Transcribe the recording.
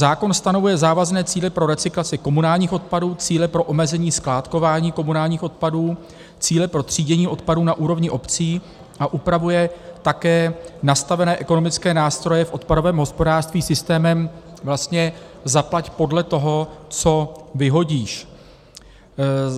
Zákon stanovuje závazné cíle pro recyklaci komunálních odpadů, cíle pro omezení skládkování komunálních odpadů, cíle pro třídění odpadů na úrovni obcí a upravuje také nastavené ekonomické nástroje v odpadovém hospodářství systémem vlastně zaplať podle toho, co vyhodíš.